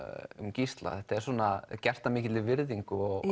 Gísla þetta er gert af mikilli virðingu og